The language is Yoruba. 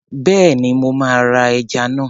Bẹ́ẹ̀ni, mo máa ra ajá náà.